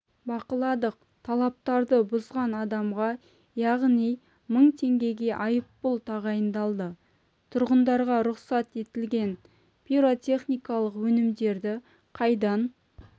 бақыладық талаптарды бұзған адамға яғни мың теңге айыппұл тағайындалды тұрғындарға рұқсат етілген пиротехникалық өнімдерді қайдан